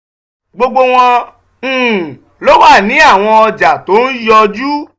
gbogbo wọn um ló wà ní àwọn ọjà tó ń yọjú.